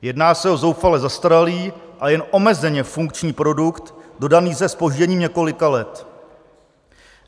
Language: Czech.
Jedná se o zoufale zastaralý a jen omezeně funkční produkt, dodaný se zpožděním několika let.